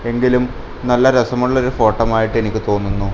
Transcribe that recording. എങ്കിലും നല്ല രസമുള്ള ഒരു ഫോട്ടം ആയിട്ട് എനിക്ക് തോന്നുന്നു.